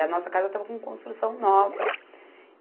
E a nossa casa estava com construção nova.